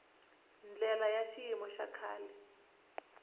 ndlela ya xiyimo xa le